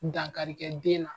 Dankari kɛ den na.